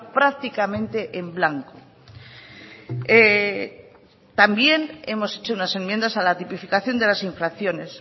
prácticamente en blanco también hemos hecho unas enmiendas a la tipificación de las infracciones